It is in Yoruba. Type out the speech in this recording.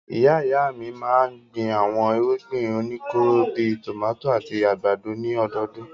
Ìyá-ìyá mi máa ń gbin àwọn irúgbìn oníkóró bí i tòmátì àti àgbàdo ní ọdọọdún.